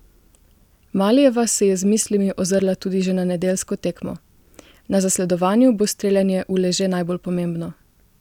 Malijeva se je z mislimi ozrla tudi že na nedeljsko tekmo: "Na zasledovanju bo streljanje v leže najbolj pomembno.